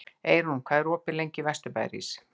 Eyrún, hvað er opið lengi í Vesturbæjarís?